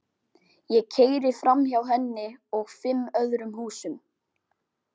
Ég keyri framhjá henni og fimm öðrum húsum.